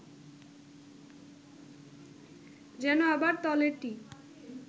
যেন আবার তলেরটি